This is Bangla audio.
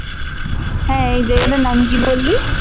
হ্যাঁ এই জায়গাটার নাম কি বললি?